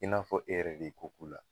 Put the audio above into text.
I n'a fɔ e yɛrɛ de ye ko k'u la